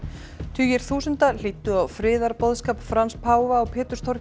tugir þúsunda hlýddu á friðarboðskap Frans páfa á